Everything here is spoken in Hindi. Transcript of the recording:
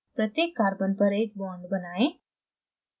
प्रत्येक carbon पर एक bond बनाएं